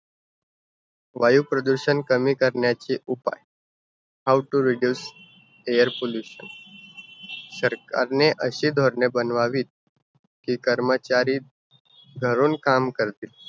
वायुप्रदूषण कमी करण्याचे उपाय. How to reduce air pollution. सरकारने अशी धोरणे बनवावीत, कि कर्मचारी घरून काम करतील.